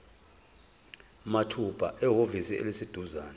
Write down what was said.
mathupha ehhovisi eliseduzane